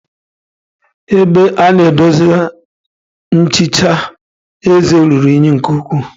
Ebe a na edosa nchicha eze ruru unyi nke ukwuu.